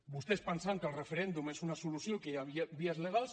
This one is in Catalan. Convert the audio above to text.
vostès pensen que el referèndum és una solució que hi ha vies legals